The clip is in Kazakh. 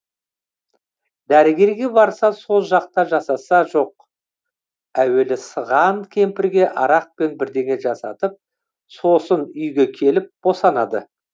дәрігерге барса сол жақта жасаса жоқ әуелі сыған кемпірге арақпен бірдеңе жасатып сосын үйге келіп босанады